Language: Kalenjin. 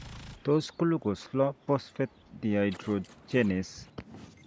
Tos glucose 6 phosphate dehydrogenase